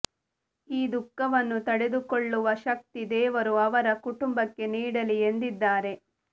ಈ ದುಃಖವನ್ನು ತಡೆದುಕೊಳ್ಳುವ ಶಕ್ತಿ ದೇವರು ಅವರ ಕುಟುಂಬಕ್ಕೆ ನೀಡಲಿ ಎಂದಿದ್ದಾರೆ